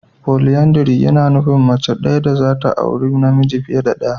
"Polyandry" yana nufin mace daya dazata auri namiji fiye da daya.